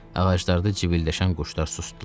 Ağaclarda cibiləşən quşlar susdular.